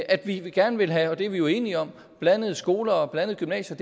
at vi gerne vil have og det er vi jo enige om blandede skoler og blandede gymnasier